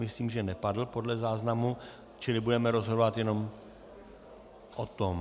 Myslím, že nepadl, podle záznamu, čili budeme rozhodovat jenom o tom.